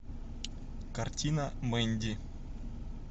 картина мэнди